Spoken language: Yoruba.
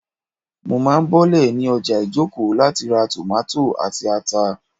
Mo má bọ́lẹ̀ ní ọjà Ijoko láti ra tòmátò àti ata